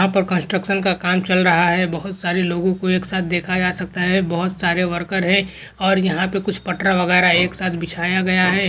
यहा पर कन्स्ट्रकशन का काम चल रहा है बहुत सारे लोगों को एक साथ देखा जा सकता है बहूत सारे वर्कर है और यहा पर कुछ पटरा वगैरा एक साथ बिछाया गया है।